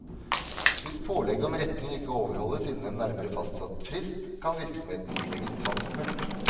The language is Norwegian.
Hvis pålegget om retting ikke overholdes innen en nærmere fastsatt frist, kan virksomheten ilegges tvangsmulkt.